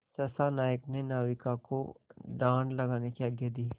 सहसा नायक ने नाविकों को डाँड लगाने की आज्ञा दी